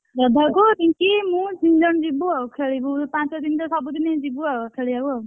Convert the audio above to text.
ଶ୍ରଦ୍ଧାକୁ ରିଙ୍କି ମୁଁ ତିନି ଜଣ ଯିବୁ ଆଉ ଖେଳିବୁ ପାଞ୍ଚ ଦିନ ତ ସବୁଦିନ ଯିବୁ ଆଉ ଖେଳିବାକୁ ଆଉ,